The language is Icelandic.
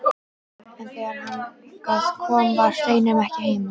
En þegar þangað kom var Steinunn ekki heima.